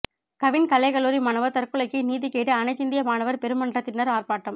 கவின் கலைக் கல்லூரி மாணவர் தற்கொலைக்கு நீதி கேட்டு அனைத்திந்திய மாணவர் பெருமன்றத்தினர் ஆர்ப்பாட்டம்